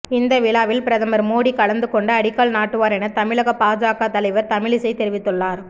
இந்த விழாவில் பிரதமர் மோடி கலந்து கொண்டு அடிக்கல் நாட்டுவார் என தமிழக பாஜக தலைவர் தமிழிசை தெரிவித்துள்ளார்